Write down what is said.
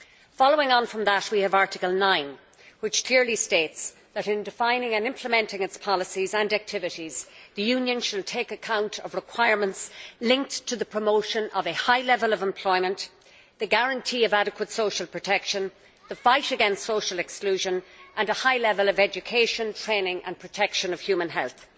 Following on from that, Article 9 clearly states that in defining and implementing its policies and activities, the Union should take account of requirements linked to the promotion of a high level of employment, the guarantee of adequate social protection, the fight against social exclusion, and a high level of education, training and protection of human health.